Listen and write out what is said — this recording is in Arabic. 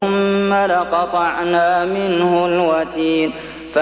ثُمَّ لَقَطَعْنَا مِنْهُ الْوَتِينَ